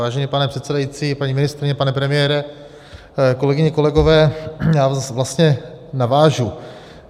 Vážený pane předsedající, paní ministryně, pane premiére, kolegyně, kolegové, já vlastně navážu.